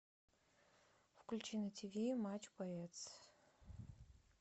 включи на тв матч боец